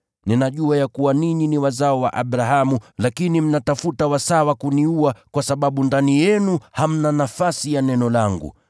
Ninajua ya kuwa ninyi ni wazao wa Abrahamu, lakini mnatafuta wasaa wa kuniua kwa sababu ndani yenu hamna nafasi ya neno langu.